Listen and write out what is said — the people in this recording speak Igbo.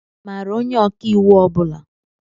Ị maara onye ọkàiwu ọ bula?